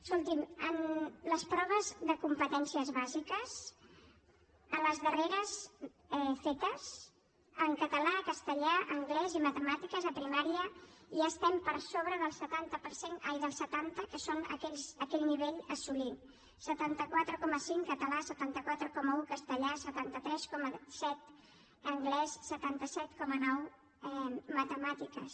escolti’m en les proves de competències bàsiques a les darreres fetes en català castellà anglès i matemàtiques a primària ja estem per sobre del setanta que és aquell nivell a assolir setanta quatre coma cinc català setanta quatre coma un castellà setanta tres coma set anglès setanta set coma nou matemàtiques